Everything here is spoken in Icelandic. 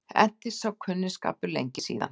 Entist sá kunningsskapur lengi síðan.